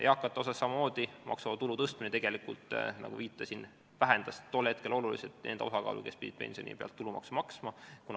Eakate maksuvaba tulu tõstmine, nagu viitasin, vähendas tol hetkel oluliselt nende osakaalu, kes pidid pensioni pealt tulumaksu maksma.